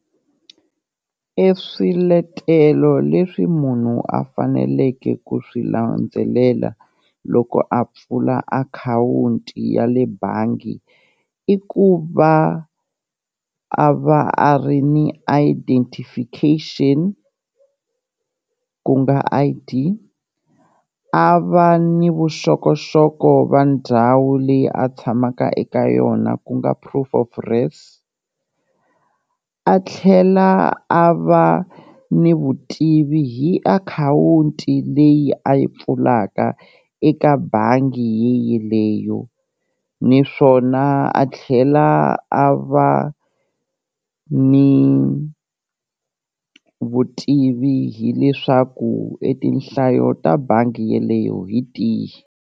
E swiletelo leswi munhu a faneleke ku swi landzelela loko a pfula akhawunti ya le bangi, i ku va a va a ri ni identification ku nga I_D a va ni vuxokoxoko va ndhawu leyi a tshamaka eka yona ku nga proof of res, a tlhela a va ni vutivi hi akhawunti leyi a yi pfulaka eka bangi yeyeleyo naswona a tlhela a va ni vutivi hileswaku e tinhlayo ta bangi yeleyo hi tihi.